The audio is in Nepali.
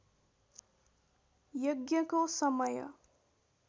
यज्ञको समय